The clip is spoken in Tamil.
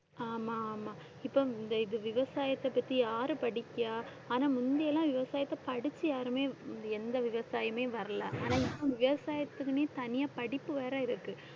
ஆமா ஆமா இப்ப இந்த இது விவசாயத்தைப் பத்தி யாரு படிக்கிறா? ஆனா முந்தியெல்லாம் விவசாயத்தை படிச்சு யாருமே எந்த விவசாயியுமே வரல. ஆனா இப்ப விவசாயத்துக்குன்னே தனியா படிப்பு வேற இருக்கு.